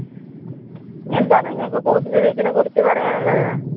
എന്താണ് നിങ്ങൾക്ക് കൂടുതൽ ഇതിനെ കുറിച്ച് പറയാനുള്ളത്?